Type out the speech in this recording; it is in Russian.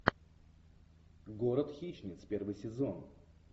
город хищниц первый сезон